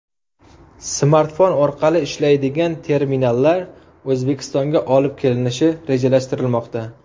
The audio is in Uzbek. Smartfon orqali ishlaydigan terminallar O‘zbekistonga olib kelinishi rejalashtirilmoqda.